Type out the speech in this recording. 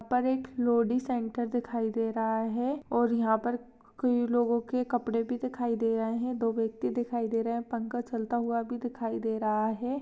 यहा पर एक लोडी सेंटर दिखाई दे राहा है और यहा पर कई लोगो के कपडे भी दिखाई दे राहे है दो व्यक्तीं दिखाई दे रहे है पंखा चालता हुआ भी दिखाई दे राहा है।